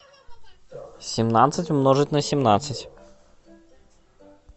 семнадцать умножить на семнадцать